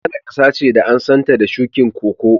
Ghane kasa ne da an san ta da shukin Koko.